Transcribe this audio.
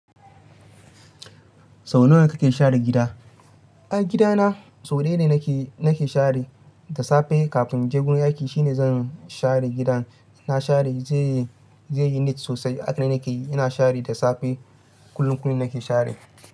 Sau nawa kake share gida? Ai gida na sau daya ne nake, nake share da safe kafin je gurin aiki shine zan share gidan. Na share zai yi, zai yi neat sosai. Hakane nake yi. Ina share da safe. Kullun kullun nake share.